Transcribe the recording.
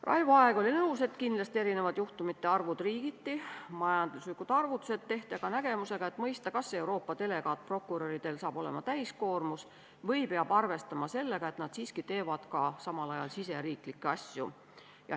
Raivo Aeg oli nõus, et kindlasti erinevad juhtumite arvud riigiti, majanduslikud arvutused tehti aga nägemusega, et mõista, kas Euroopa delegaatprokuröridel hakkab olema täiskoormus või peab arvestama sellega, et nad siiski tegelevad samal ajal ka riigisiseste asjadega.